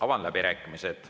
Avan läbirääkimised.